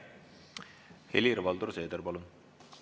Helir-Valdor Seeder, palun!